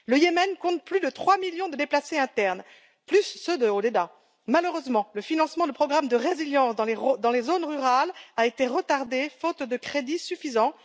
Le Yémen compte plus de trois millions de déplacés internes, plus ceux de Hodeïda. Malheureusement, le financement du programme de résilience dans les zones rurales a été retardé, faute de crédits suffisants.